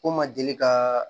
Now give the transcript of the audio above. Ko n ma deli ka